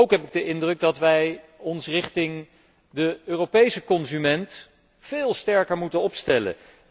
Ook heb ik de indruk dat wij ons richting de Europese consument veel sterker moeten opstellen.